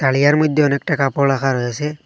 থালিয়ার মইধ্যে অনেকটা কাপড় রাখা রয়েছে।